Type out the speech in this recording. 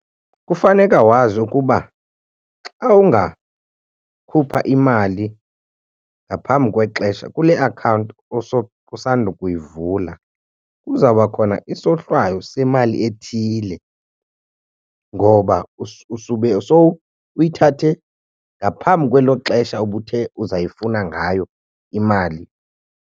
Kufaneka wazi ukuba xa ungakhupha imali ngaphambi kwexesha kule akhawunti usandukuyivula kuzawuba khona isohlwayo semali ethile ngoba usube sowuyithathe ngaphambi kwelo xesha ubuthe uzayifuna ngayo imali.